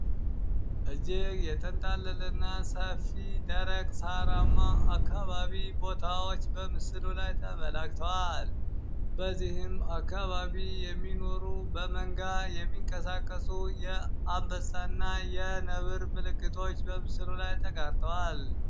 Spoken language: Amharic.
እጅግ የተንጣለለ እና ሰፊ ደረቅ ሳራማ አካባቢዎች ቦታወች በምስሉ ላይ ተገልጸዋል። በዚህም አካባቢ የሚኖሩ በመንጋ የሚቀሳቀሱ የአንበሳ እና የነብር ምልክቶች በምስሉ ላይ ተቀድተዋል።